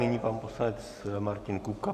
Nyní pan poslanec Martin Kupka.